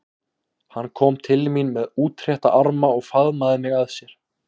Hann kom til mín með útrétta arma og faðmaði mig að sér.